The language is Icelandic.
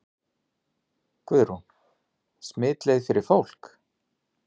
Guðrún: Smitleið fyrir fólk?